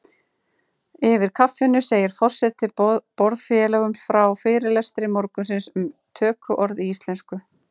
Yfir kaffinu segir forseti borðfélögum frá fyrirlestri morgunsins um tökuorð í íslensku.